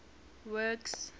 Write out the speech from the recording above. works